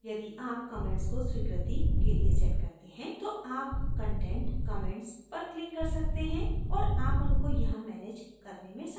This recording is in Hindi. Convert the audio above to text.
यदि आप comments को स्वीकृति के लिए set करते हैं तो आप content comments पर click कर सकते हैं और आप उनको यहाँ manage करने में सक्षम होंगे